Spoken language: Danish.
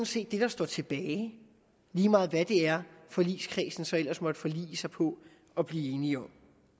set det der står tilbage lige meget hvad det er forligskredsen så ellers måtte forlige sig på og blive enige om